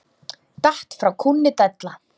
Datt frá kúnni della.